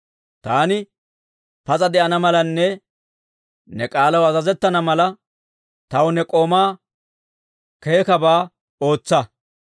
Taani pas'a de'ana malanne ne k'aalaw azazettana mala, taw ne k'oomaw keekabaa ootsa.